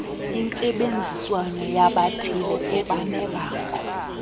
intsebenziswano yabathile ebanebango